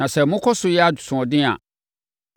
“ ‘Na sɛ mokɔ so yɛ asoɔden a,